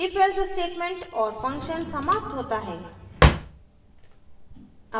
ifelse statement और function समाप्त होता है